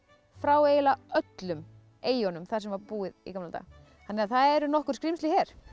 frá eiginlega öllum eyjunum þar sem var búið í gamla daga þannig að það eru nokkur skrímsli hér